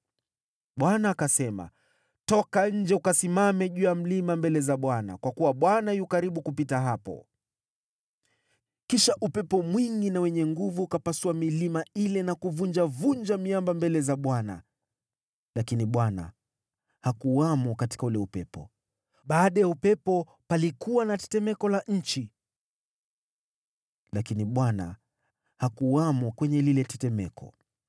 Bwana akasema, “Toka nje ukasimame juu ya mlima mbele za Bwana , kwa kuwa Bwana yu karibu kupita hapo.” Kisha upepo mwingi na wenye nguvu ukapasua milima ile na kuvunjavunja miamba mbele za Bwana , lakini Bwana hakuwamo katika ule upepo. Baada ya upepo palikuwa na tetemeko la nchi, lakini Bwana hakuwamo kwenye lile tetemeko.